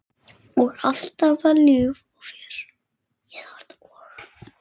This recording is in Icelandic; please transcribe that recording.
Alltaf var líf og fjör.